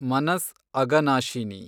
Manas Aghanashini